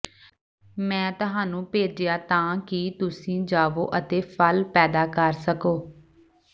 ਮੈਂ ਤੁਹਾਨੂੰ ਭੇਜਿਆ ਤਾਂ ਕਿ ਤੁਸੀਂ ਜਾਵੋਂ ਅਤੇ ਫਲ ਪੈਦਾ ਕਰ ਸਕੋਂ